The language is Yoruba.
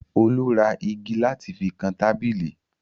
Olu ra igi láti fi kan tábìlì.